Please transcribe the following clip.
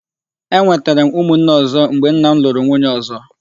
E nwètèrè m nne umu nne ọzọ mgbe nna m lụrụ nwunye ọzọ.